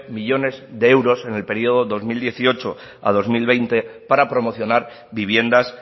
millónes de euros en el periodo dos mil dieciocho a dos mil veinte para promocionar viviendas